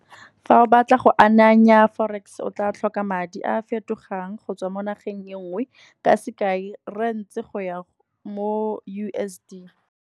Fa o batla go ananya forex, o tla tlhoka madi a fetogang go tswa mo nageng e nngwe, ka sekai Rands go ya mo U_S_D.